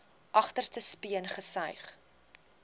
agterste speen gesuig